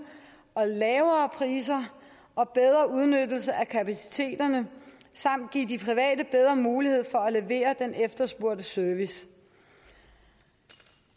og lavere priser og bedre udnyttelse af kapaciteterne samt give de private bedre muligheder for at levere den efterspurgte service